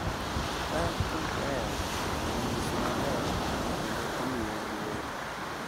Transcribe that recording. Ka kieu onyis maler kendo omiye luor,